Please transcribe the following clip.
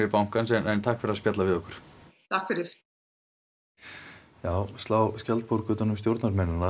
bankans en takk fyrir að spjalla við okkur takk fyrir já slá skjaldborg utan um stjórnarmennina